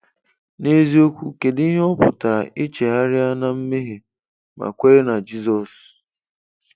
N'eziokwu, kedụ ihe ọ pụtara, ị chegharịa na mmehie ma kwere na Jizọs.